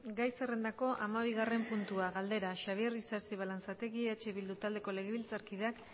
gai zerrendako hamabigarren puntua galdera xabier isasi balanzategi eh bildu taldeko legebiltzarkideak